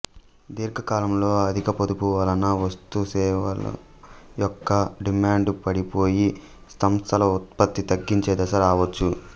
దీర్ఘకాలంలో అధిక పొదుపు వలన వస్తుసేవల యొక్క డిమాండు పడిపోయి సంస్థలు ఉత్పత్తి తగ్గించే దశ రావచ్చు